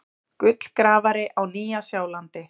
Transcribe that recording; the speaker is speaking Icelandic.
Gullgrafari á Nýja-Sjálandi.